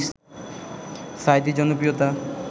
সাঈদীর জনপ্রিয়তা